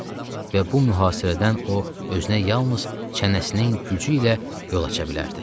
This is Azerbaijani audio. Və bu mühasirədən o özünə yalnız çənəsinin gücü ilə yol aça bilərdi.